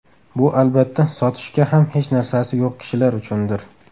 Bu albatta sotishga ham hech narsasi yo‘q kishilar uchundir.